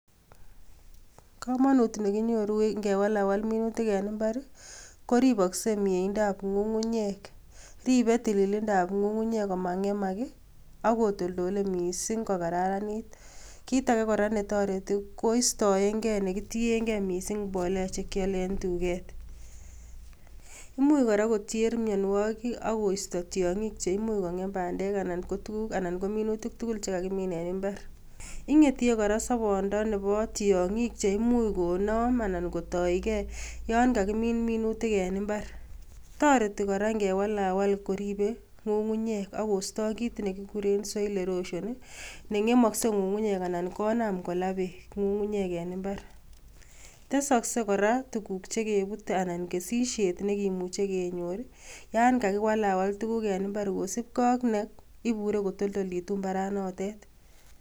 Komonut nekinyoru ngewalawal minutik en mbar koripokse mieindab ng'ung'unyek ripe tililindab ng'ung'unyek komang'emak akotoltole mising kokararanit kit ake kora netoreti koistoengee nekitiengee mising mbolea chekiale en duket imuch kora koter mianwokik akoisto tiang'ik cheimuch kong'em bandek ana ko minutik tugul chekakimin en mbar ing'etie kora sobondo nepo tiong'ik cheimuch konom anan kotoike yon kakimin minutik en mbar, toreti kora ngewalawal koripe Komonut nekinyoru ngewalawal minutik en mbar koripokse mieindab ng'ung'unyek akostoo kit nekikuren soil erosion neng'emokse ng'ung'unyek anan konam kolaa beek Komonut nekinyoru ngewalawal minutik en mbar koripokse mieindab ng'ung'unyek en mbar tesokse kora tukuk chekepute anan kesisiet nekimuche kenyor yan kakiwalawal tukuk en mbar kosipke ak neibure kotoltolitu mbaranotet.